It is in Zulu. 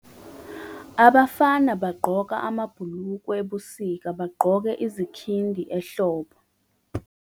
abafana bagqoka amabhulukwe ebusika, bagqoke izikhindi ehlobo